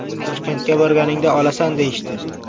Toshkentga borganingda olasan deyishdi.